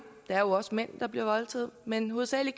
der er jo også mænd der bliver voldtaget men hovedsagelig